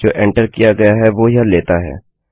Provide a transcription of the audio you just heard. जो एंटर किया गया है वो यह लेता है